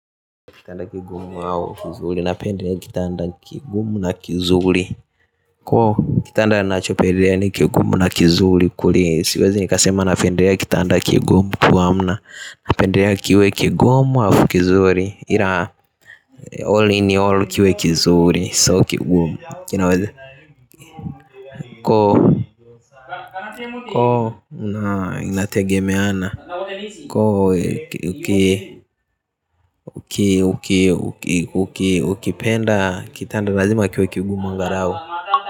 Kitanda kigumu au kizuli, napenda kitanda kigumu na kizuli. Koo, kitanda ninacho pendelea ni kigumu na kizuli. Kweli, siwezi nikasema napendea kitanda kigumu kuamna. Napendea kiwe kigumu halafu kizuli Ira, all in all kiwe kizuli So kigumu, kinawezi. Koo, koo, na inategemeana. Koo, ukipenda kitanda razima kiwe kigumu angarau.